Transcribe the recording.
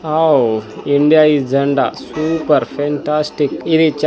ఆవ్ ఇండియా ఇ జండా సూపర్ ఫెంటాస్టిక్ ఇది.